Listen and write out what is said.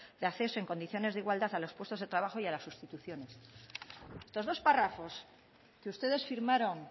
de acceso en condiciones de igualdad a los puestos de trabajo y a las sustituciones estos dos párrafos que ustedes firmaron